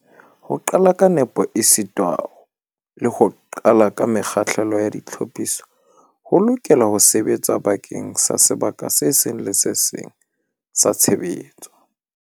Ho qala ka nepo esita le ho qala ka mekgahlelo ya ditlhophiso ho tla lokela ho sebetsa bakeng sa sebaka se seng le se seng sa tshebetso.